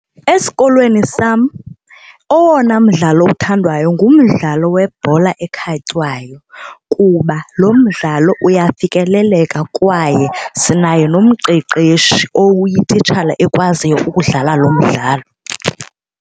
Esikolweni sam owona mdlalo othandwayo ngumdlalo webhola ekhatywayo kuba lo mdlalo uyafikeleleka kwaye sinayo nomqeqeshi owuyititshala ekwaziyo ukudlala lo mdlalo.